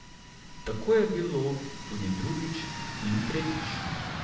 Tako je bilo tudi drugič, in tretjič.